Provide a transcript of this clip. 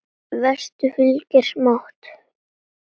Vestur fylgir smátt.